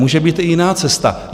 Může být i jiná cesta.